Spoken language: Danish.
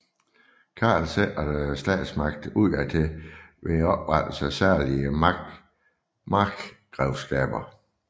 Karl sikrede statsmagten udadtil ved oprettelse af særlige markgrevskaber